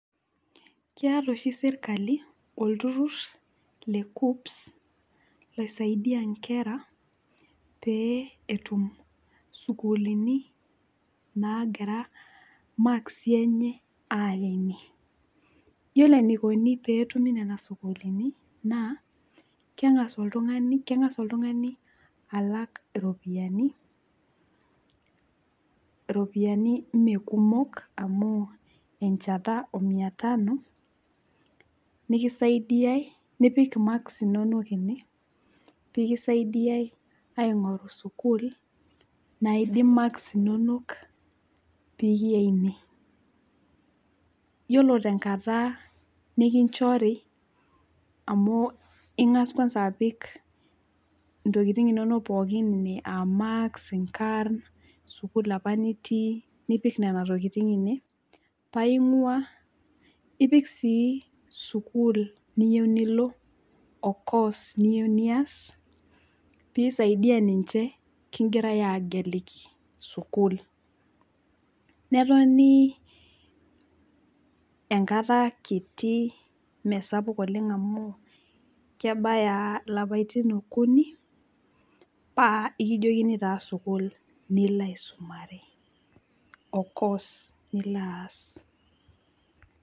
Keeta oshi sirkali olturur lekuccps loisaidia nkera pee etum isuukulini nagira maksi enye aya ine . Yiolo enikoni tenetumi nena sukuulini naa kengas , kengas oltungani alak iropiyiani , alak iropiyiani mmee kumok amu enchanta omia tano nikisaidiay, nipik imaks inonok ene , pikisaidiay aingoru sukuul naidim marks inonok peyie eimie. Yiolo tenkata nikinchori amu ingas kwanza apik ntokitin inonok pookin ine aamarks, inkarn, sukuul apa nitii paa imua, ipik sii sukuul niyieu nilo, ocourse niyieu nias pisaidia ninche kingirae ageliki sukul. Netoni enkata kiti mme sapuk oleng' amu kebaya ilapaitin okuni paa ekijoni taa sukuul nilo aisumare ocourse nilo aas.